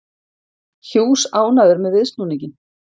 Hughes ánægður með viðsnúninginn